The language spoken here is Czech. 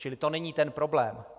Čili to není ten problém.